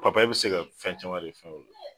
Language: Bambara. bi se ka fɛn caman de fɛn